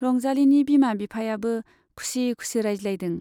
रंजालीनि बिमा बिफायाबो खुसि खुसि रायज्लायदों।